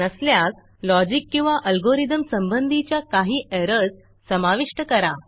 नसल्यास लॉजिक किंवा अल्गोरिथम संबंधीच्या काही एरर्स समाविष्ट करा